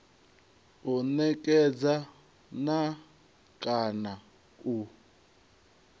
u netshedza na kana u